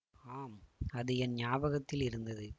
ஆம் அது என் ஞாபகத்தில் இருந்தது